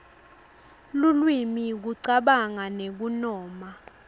lulwimi kucabanga nekunoma